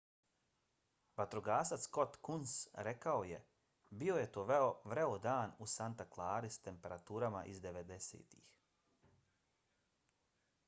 vatrogasac scott kouns rekao je bio je to vreo dan u santa clarii sa temperaturama iz 90-ih